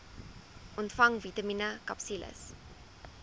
ontvang vitamien akapsules